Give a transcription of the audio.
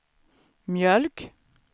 mjölk